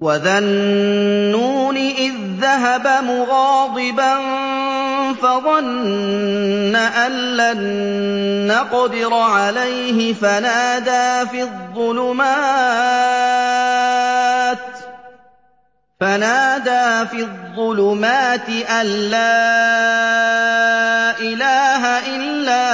وَذَا النُّونِ إِذ ذَّهَبَ مُغَاضِبًا فَظَنَّ أَن لَّن نَّقْدِرَ عَلَيْهِ فَنَادَىٰ فِي الظُّلُمَاتِ أَن لَّا إِلَٰهَ إِلَّا